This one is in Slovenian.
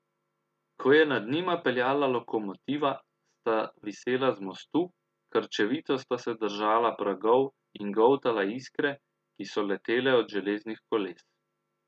Ko je nad njima peljala lokomotiva, sta visela z mostu, krčevito sta se držala pragov in goltala iskre, ki so letele od železnih koles.